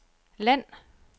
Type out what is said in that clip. land